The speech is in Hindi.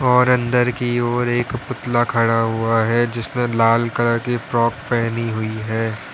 और अंदर की ओर एक पुतला खड़ा हुआ है जिसने लाल कलर की फ्रॉक पहनी हुई है।